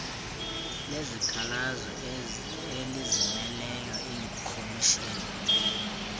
lezikhalazo elizimeleyo iikhomishini